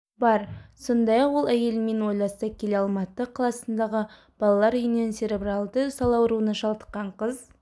бар сондай-ақ ол әйелімен ойласа келе алматы қаласындағы балалар үйінен церебралды сал ауруына шалдыққан қыз